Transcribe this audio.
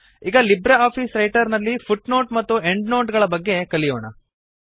ಈಗ LibreOffice Writer ನಲ್ಲಿ footnote ಮತ್ತು ಎಂಡ್ ನೋಟ್ ಗಳ ಬಗ್ಗೆ ಕಲಿಯೋಣ